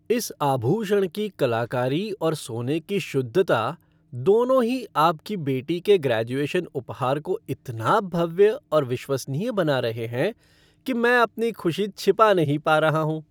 इस आभूषण की कलाकारी और सोने की शुद्धता, दोनों ही आपकी बेटी के ग्रैजुएशन उपहार को इतना भव्य और विश्वसनीय बना रहे हैं कि मैं अपनी खुशी छिपा नहीं पा रहा हूँ।